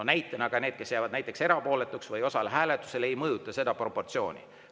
No näiteks need, kes jäävad erapooletuks või ei osale hääletusel, ei mõjuta seda proportsiooni.